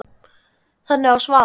Þannig var Svala.